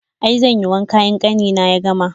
I, zanyi wanka in ƙanina ya gama.